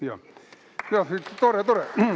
Jah, tore-tore!